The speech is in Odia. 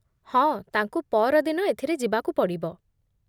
ହଁ, ତାଙ୍କୁ ପଅରଦିନ ଏଥିରେ ଯିବାକୁ ପଡ଼ିବ ।